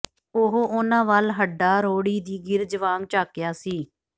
ਉਹ ਉਹਨਾਂ ਵੱਲ ਹੱਡਾਂਰੋੜੀ ਦੀ ਗਿਰਝ ਵਾਂਗ ਝਾਕਿਆ ਸੀ